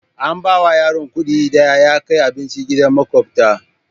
An bawa yaron kuɗi na da ya kai abinci gidan maƙota.